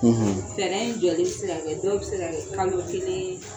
Fɛɛrɛ in jɔlen bi se ka kɛ, dɔw bi se kɛ fan ye .